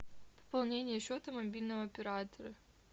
пополнение счета мобильного оператора